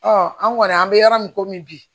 an kɔni an bɛ yɔrɔ min komi bi